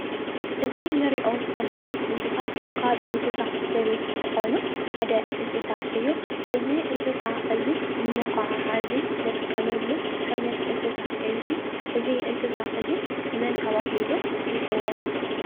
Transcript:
እዚ ንሪኦ ዘለና እንስሳ ካብ እንስሳ ዘቤት ዝኾኑ ሓደ እንስሳ እዩ፡፡ እዚ እንስሳ እዚ ንመጓዓዓዚ ንጥቀመሉ ዓይነት እንስሳ እዩ፡፡ እዚ እንስሳ እዚ መን ተባሂሉ ይፅዋዕ?